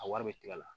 A wari bɛ tigɛ a la